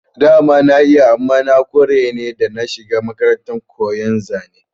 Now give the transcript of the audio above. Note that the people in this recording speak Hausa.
Dama na iya amma na kware ne da na shiga makarantar koyon zane